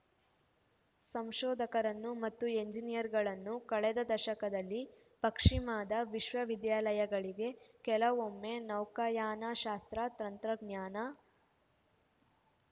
ಸಂಶೋಧಕರನ್ನು ಮತ್ತು ಎಂಜಿನಿಯರುಗಳನ್ನು ಕಳೆದ ದಶಕದಲ್ಲಿ ಪಶ್ಚಿಮದ ವಿಶ್ವವಿದ್ಯಾಲಯಗಳಿಗೆ ಕೆಲವೊಮ್ಮೆ ನೌಕಾಯಾನಶಾಸ್ತ್ರ ತಂತ್ರಜ್ಞಾನ